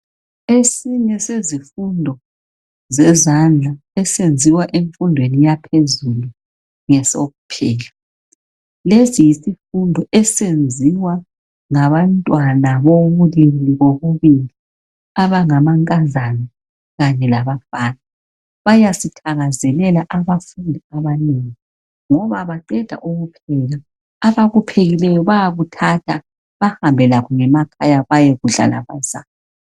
Esinye sezifundo zezandla esenziwa emfundweni yaphezulu ngesokupheka. Lesi yisifundo esenziwa ngabantwana abobulili bobubili, abangamankazana kanye labafana. Bayasithakazelela abafundi abanengi. Ngoba bangaqeda ukupheka abakuphekileyo bayakuthatha behambe lakho ngemakhaya bayekudla labazali.